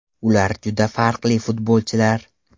Ular juda farqli futbolchilar.